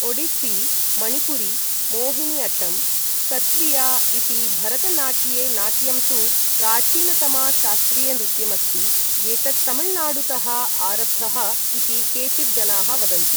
Odissi, Manipuri, Mohiniyattam, Sattriya, इ्ति भरत नाट्ये नाट्यं तु प्राचीनतमा शास्त्रीयनृत्यमस्ति एतत् तमिळुनाडुतः आरब्धः इति केचित् जनाः वदन्ति ।